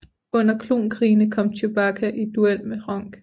Under Klon Krigene kom Chewbacca i duel med Hronk